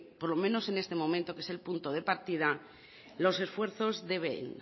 por lo menos en este momento que es el punto de partida los esfuerzos deben